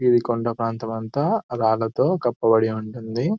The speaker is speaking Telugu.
ఇది కొండ ప్రాంతము అంతా రాళ్లతో కప్పబడి ఉంటుంది .